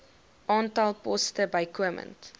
aantal poste bykomend